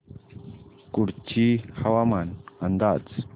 कुडची हवामान अंदाज